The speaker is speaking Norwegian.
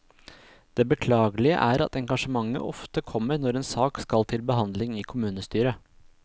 Det beklagelige er at engasjementet ofte kommer når en sak skal til behandling i kommunestyret.